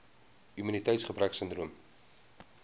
immuniteits gebrek sindroom